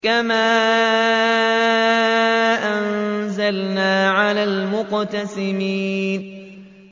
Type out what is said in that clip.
كَمَا أَنزَلْنَا عَلَى الْمُقْتَسِمِينَ